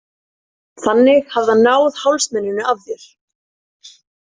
Þannig hafi hann náð hálsmeninu af þér.